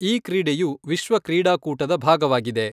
ಈ ಕ್ರೀಡೆಯು ವಿಶ್ವ ಕ್ರೀಡಾಕೂಟದ ಭಾಗವಾಗಿದೆ.